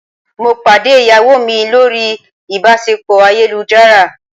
Mo pàdé ìyàwó mi lórí ìbáṣepọ̀ ayélujára.